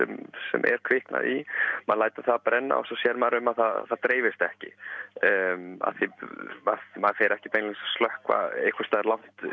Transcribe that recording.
sem er kviknað í maður lætur það brenna og svo sér maður um að það dreifist ekki af því maður fer ekki beinlínis að slökkva einhvers staðar